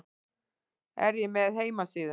Er ég með heimasíðu?